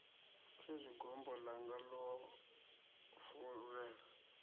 khezwi gombo ḽanga ḽo fovhela